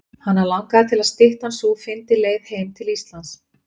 Hana langaði til að styttan sú fyndi leið heim til Íslands.